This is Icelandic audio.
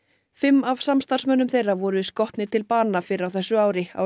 fimm af samstarfsmönnum þeirra voru skotnir til bana fyrr á þessu ári á